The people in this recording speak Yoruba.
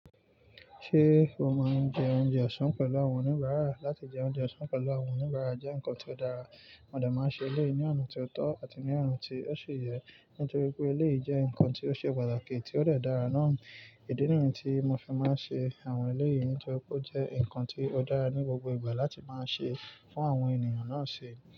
Ṣé o máa ń jẹ oúnjẹ ọ̀sán pẹ̀lú àwọn oníbàárà? Látijẹ oúnjẹ ọ̀sán pẹ̀lú àwọn oníbàárà jẹ́ nǹkan tí ó dára. Mọ̀dẹ́ máa ń ṣe eléyìí ní ọ̀nà tó tọ́ àti ní ọ̀nà tí ó ṣi yẹ, nítorí pé eléyìí jẹ́ ǹkan tí ó ṣe pàtàkì tí ó dẹ̀ dára náà. Ìdí nìyẹn tí mo fi máa ń ṣe àwọn eléyìí nítorí pé ó jẹ́ ǹkan tí ó dára ní gbogbo ìgbà láti máa ṣe fún àwọn ènìyàn náà si.